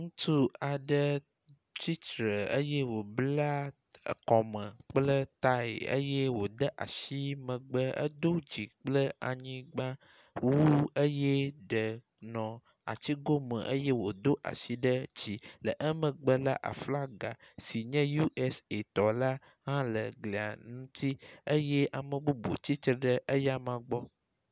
Ŋutsu aɖe tsitre eye wòbla ekɔme kple tae eye wòde asi megbe, edo dzi kple anyigba wu eye ɖe nɔ atigo me eye wòdo asi ɖe dzi. Le emegbe la, aflaga si nye USA tɔ la hã le glia ŋuti eye ame bubu hã tsitre ɖe eya ma gbɔ.